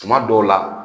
Tuma dɔw la